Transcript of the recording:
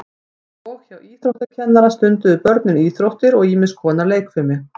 og hjá íþróttakennara stunduðu börnin íþróttir og ýmis konar leikfimi